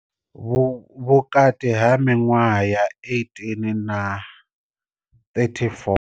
Vhukati ha miṅwaha ya 18 na 34.